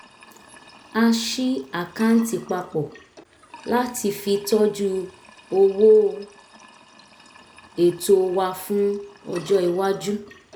a ṣí àkáǹtì papọ̀ láti fi tọ́jú owó ètò wa fún ọjọ́ iwájú